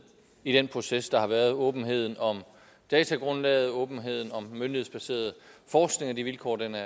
i den proces der har været åbenheden om datagrundlaget åbenheden om den myndighedsbaserede forskning og de vilkår den er